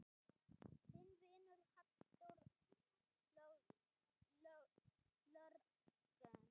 Þinn vinur, Halldór Jörgen.